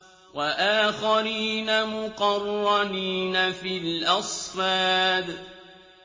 وَآخَرِينَ مُقَرَّنِينَ فِي الْأَصْفَادِ